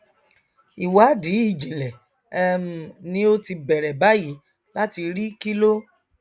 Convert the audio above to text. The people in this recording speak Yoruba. ìwádìí ìjìnlẹ um ni ó ti bẹrẹ báyìí láti rí kíló